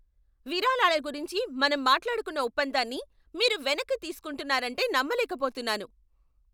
విరాళాల గురించి మనం మాట్లాడుకున్న ఒప్పందాన్ని మీరు వెనక్కి తీసుకుంటున్నారంటే నమ్మలేకపోతున్నాను.